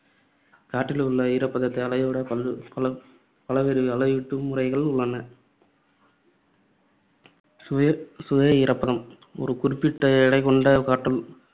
காற்றில் உள்ள ஈரப்பதத்தை அளவிட பல்~ பல பலவேறு அளவீட்டு முறைகள் உள்ளன. சுய சுய ஈரப்பதம் ஒரு குறிப்பிட்ட எடைக்கொண்ட காற்று